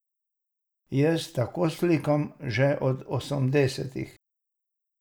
Jaz tako slikam že od osemdesetih.